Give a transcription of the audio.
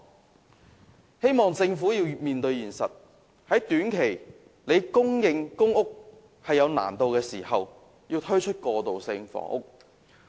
我希望政府面對現實，在短期難以供應公屋時，推出過渡性房屋。